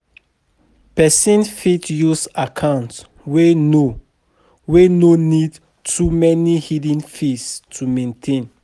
person fit use account wey no wey no need too many hidden fees to maintain